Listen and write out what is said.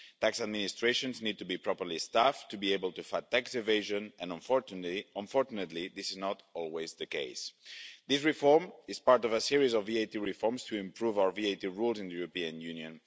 Tax administrations need to be properly staffed to be able to fight tax evasion, and unfortunately this is not always the case. This reform is part of a series of VAT reforms to improve our VAT rules in the European Union.